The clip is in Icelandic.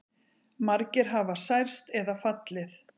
Margir hafa særst eða fallið